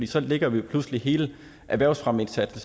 så lægger vi pludselig hele erhvervsfremmeindsatsen